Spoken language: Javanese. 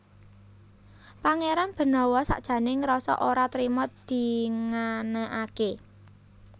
Pangéran Benawa sakjané ngrasa ora trima dinganakaké